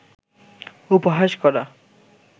উপহাস করা